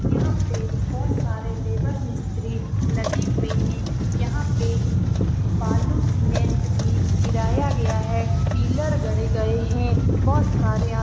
यहाँ पे बहुत सारे लेबर मिस्त्री लगे हुए है यहाँ पे बालू सीमेंट भी गिराया गया है पिलर गड़े गया है बहुत सारे आ --